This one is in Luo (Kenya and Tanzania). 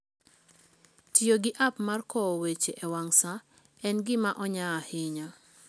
Tiyo gi app mag kowo weche e wang' sa en gima onya ahinya.